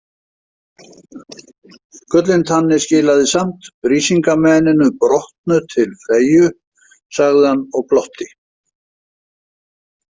Gullintanni skilaði samt Brísingameninu brotnu til Freyju, sagði hann og glotti.